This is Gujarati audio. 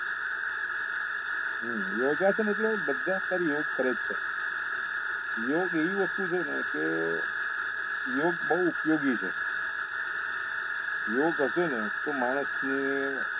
યોગાસન એટલે બધા અત્યારે યોગ કરે છે યોગ એવી વસ્તુ છે ને કે યોગ બહુ ઉપયોગી છે યોગ હશે ને તો માણસ ને